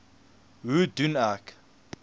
hoe doen ek